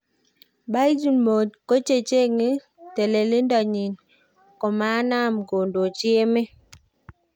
Puigdemont kochencheng telendonyin komanam kondoji emet